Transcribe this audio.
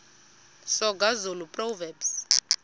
soga zulu proverbs